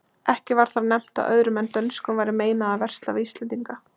Ekki var þar nefnt að öðrum en dönskum væri meinað að versla við íslendinga.